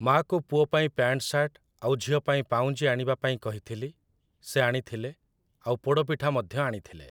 ମା'କୁ ପୁଅ ପାଇଁ ପ୍ୟାଣ୍ଟ ସାର୍ଟ, ଆଉ ଝିଅ ପାଇଁ ପାଉଁଜି ଆଣିବା ପାଇଁ କହିଥିଲି । ସେ ଆଣିଥିଲେ, ଆଉ ପୋଡ଼ ପିଠା ମଧ୍ୟ ଆଣିଥିଲେ ।